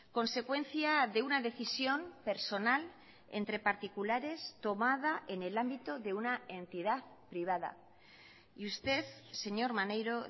consecuencia de una decisión personal entre particulares tomada en el ámbito de una entidad privada y usted señor maneiro